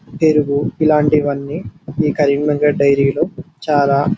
పెరుగు ఇలాంటివన్నీ ఈ కరీంనగర్ డైరీ లో చాలా --